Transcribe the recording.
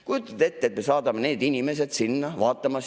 Kujutate ette, et me saadame need inimesed sinna vaatama.